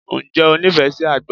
Ǹjẹ́ o nífẹ̀ẹ́ sí àgbọn?